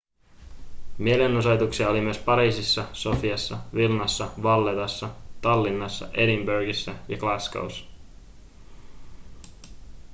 mielenosoituksia oli myös pariisissa sofiassa vilnassa vallettassa tallinnassa edinburghissa ja glasgow'ssa